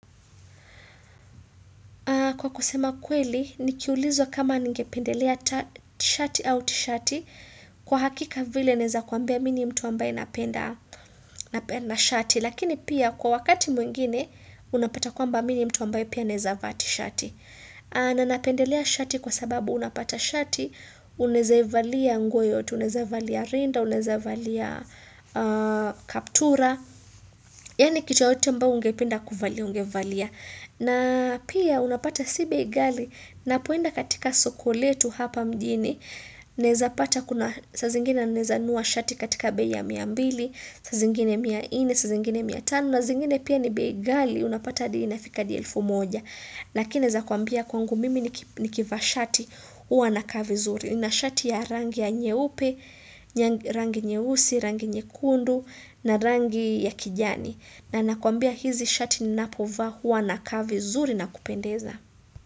Kwa kusema kweli, nikiulizwa kama ningependelea shati au tishati kwa hakika vile naeza kuambia mi ni mtu ambaye napenda shati. Lakini pia kwa wakati mwingine, unapata kwamba mi ni mtu ambaye pia naeza vaa ti shati. Na napendelea shati kwa sababu unapata shati, unaeza ivalia nguo yoyote, unaeza ivalia rinda, unaeza valia kaptura. Yani kitu yoyote ambao ungependa kuvalia, ungevalia. Na pia unapata si bei ghali napoenda katika soko letu hapa mjini naeza pata kuna saa zingine naeza nunua shati katika bei ya mia mbili saa zingine mia ine saa zingine mia tano na zingine pia ni bei ghali unapata adi ina fika adi elfu moja. Lakini naeza kuambia kwangu mimi nikivaa shati uwa naka vizuri. Na shati ya rangi ya nyeupe rangi nyeusi rangi nyekundu na rangi ya kijani na nakuambia hizi shati ninapovaa huwa nakaa vizuri na kupendeza.